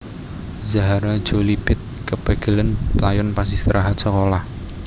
Zahara Jolie Pitt kepegelen playon pas istirahat sekolah